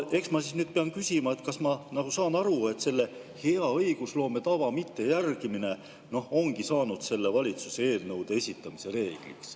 Eks ma siis pean küsima, kas ma saan aru, et selle hea õigusloome tava mittejärgimine ongi saanud selle valitsuse puhul eelnõude esitamisel reegliks.